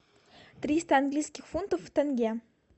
триста английских фунтов в тенге